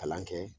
Kalan kɛ